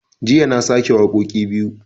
Jiya na sake wakoƙi biyu